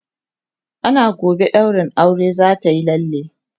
ana gobe ɗaurin auren zatayi lalle